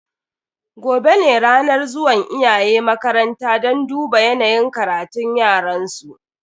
Gobe ne ranar zuwan iyaye makaranta don duba yanayin karatun yaransu.